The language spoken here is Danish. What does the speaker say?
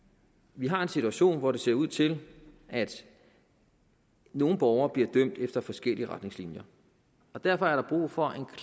vi har en situation hvor det ser ud til at nogle borgere bliver dømt efter forskellige retningslinjer derfor er der brug for